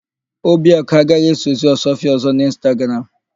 Obiakụ agaghì esozi Ọsụọfịa ọ̀zọ́ n'Ịnstagram.